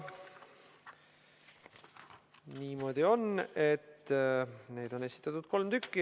Niimoodi on, et neid on esitatud kolm tükki.